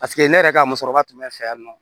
Paseke ne yɛrɛ ka musokɔrɔba tun bɛ n fɛ yan nɔ